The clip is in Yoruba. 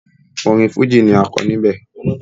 Orin Fújì ni a kọ níbẹ̀.